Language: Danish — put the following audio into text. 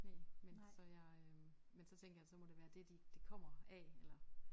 Næ men så jeg øh men så tænkte så jeg det må være det de det kommer af eller